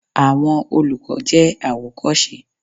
Àwọn olùkọ́ jẹ́ àwòkọ́ṣe.